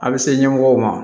A bɛ se ɲɛmɔgɔw ma